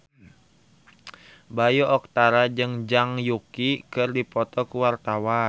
Bayu Octara jeung Zhang Yuqi keur dipoto ku wartawan